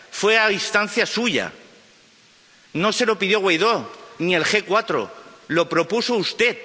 fue a instancia suya, no se lo pidió Guaidó ni el G4, lo propuso usted.